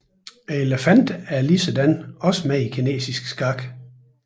Elefanten er ligeledes med i kinesisk skak